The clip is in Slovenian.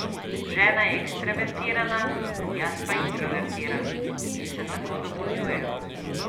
Žena je ekstravertirana, jaz pa introvertiran in se tako dopolnjujeva.